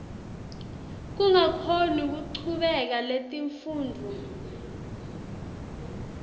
kungakhoni kuchubeka netifundvo